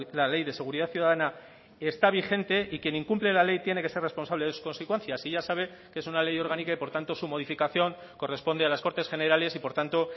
la ley de seguridad ciudadana está vigente y quien incumple la ley tiene que ser responsable de sus consecuencias y ya sabe que es una ley orgánica y por tanto su modificación corresponde a las cortes generales y por tanto